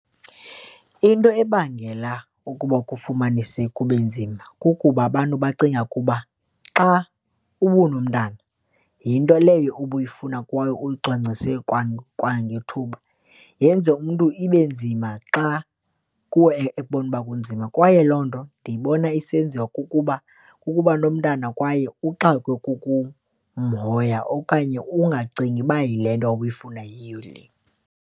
Into ebangela ukuba kufumanise kube nzima kukuba abantu bacinga ukuba xa unomntana, yinto leyo ubuyifuna kwayo uyicwangcisile kwangethuba yenze umntu ibe nzima xa kuwe ekubona ukuba kunzima. Kwaye loo nto ndiyibona isenziwa kukuba ukuba nomntana kwaye uxakwe kukumhoya okanye ungacingi uba yile nto ubuyifuna yiyo le.